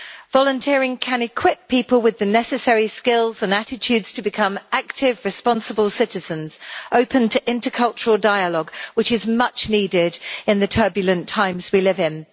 Volunteering can equip people with the necessary skills and attitudes to become active, responsible citizens open to intercultural dialogue, which is much needed in the turbulent times we live in.